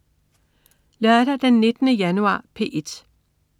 Lørdag den 19. januar - P1: